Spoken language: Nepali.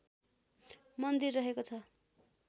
मन्दिर रहेको छ